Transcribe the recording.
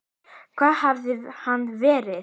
Hvar hafði hann verið?